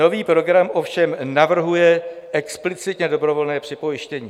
Nový program ovšem navrhuje explicitně dobrovolné připojištění.